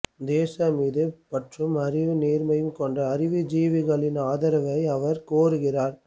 தேசம் மீது பற்றும் அறிவு நேர்மையும் கொண்ட அறிவுஜீவிகளின் ஆதரவை அவர் கோருகிறார்